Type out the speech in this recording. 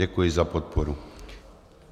Děkuji za podporu.